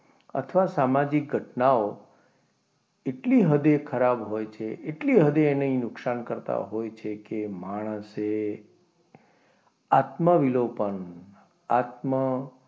અથવા સામાજિક ઘટનાઓ એટલી હદે ખરાબ હોય છે એટલી હદે એને નુકસાન કરતા હોય છે કે માણસ એ આત્માવિલોપન આત્મા,